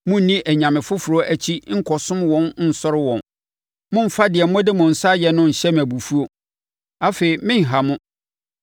Monni anyame foforɔ akyi nkɔsom wɔn nsɔre wɔn; mommfa deɛ mode mo nsa ayɛ no nhyɛ me abufuo. Afei merenha mo.”